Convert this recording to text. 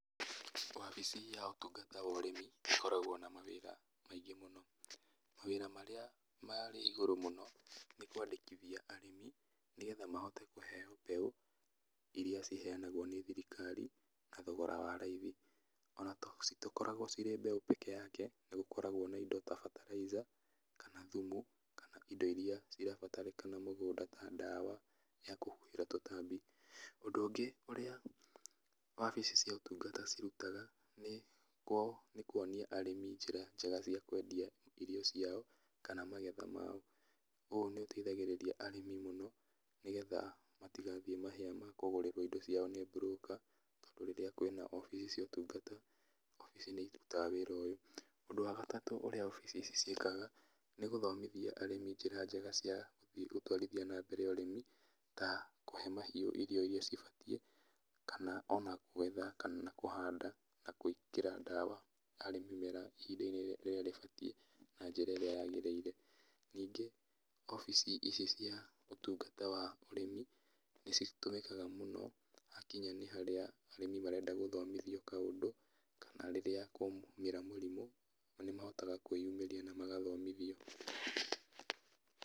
Wabici ya ũtungata wa ũrĩmi ĩkoragwo na mawĩra maingĩ mũno, mawĩra marĩa marĩ igũrũ mũno nĩ kwandĩkithia arĩmi, nĩgetha mahote kũheo mbegũ iria ciheanangwo nĩ thirikari na thogora wa raithi, ona to citikoragwo ci mbegũ peke yake nĩgũkragwo na indo ta bataraitha, kana thumu, kana indo iria irabatarĩkana mũgũnda ta ndawa ya kũhuhĩra tũtambi, ũndũ ũngĩ ũrĩa, wabici cia ũtugnata cirutaga, nĩ kũ nĩkuonia arĩmi njĩra njega cia kwendia irio ciao, kana magetha mao, ũ nĩũteithagĩrĩria arĩmi mũno, nĩgetha matigathiĩ mahĩa ma kũgũrĩrwo indo ciao nĩ broker tondũ rĩrĩa kwĩna wabici cia ũtungata, wabici nĩirutaga wĩra ũyũ, ũndũ wa gatatũ ũrĩa wabici ici ciĩkaga, nĩgũthomithia arĩmi njĩra njega cia gũtwarithia nambere ũrĩmi, ta, kũhe mahiũ irio iria cibatiĩ, kana ona gwetha onakana kũhanda na gwĩkĩra ndawa harĩ mĩmera ihinda-inĩ rĩrĩa rĩbatiĩ na njĩra ĩrĩa yagĩrĩire, ningí wabici icio cia ũtungata wa ũrĩmi, nĩcitũmĩkaga mũno hakinya nĩ harĩa arĩmi marenda gũthomithio kaũndũ, kana rĩrĩa kwaumĩra mĩrimũ, na nĩmahotaga kwĩyumĩria na magathomithio.